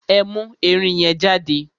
Ẹ mú ẹrin yẹn jáde!